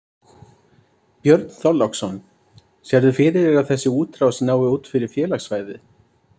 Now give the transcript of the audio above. Björn Þorláksson: Sérðu fyrir þér að þessi útrás nái út fyrir félagssvæðið?